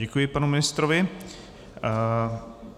Děkuji panu ministrovi.